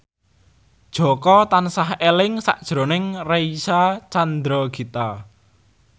Jaka tansah eling sakjroning Reysa Chandragitta